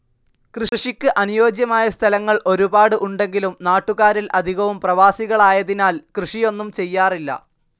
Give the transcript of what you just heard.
കൃഷിക്ക് അനുയോജ്യമായ സ്ഥലങ്ങൾ ഒരുപാട് ഉണ്ടെങ്കിലും നാട്ടുകാരിൽ അധികവും പ്രവാസികളായതിനാൽ കൃഷിയൊന്നും ചെയ്യാറില്ല.